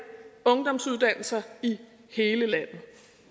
ungdomsuddannelser i hele landet